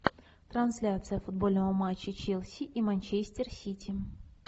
трансляция футбольного матча челси и манчестер сити